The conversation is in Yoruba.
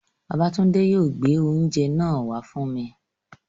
Babátúndé yóò gbé oúnjẹ náà wá fún mi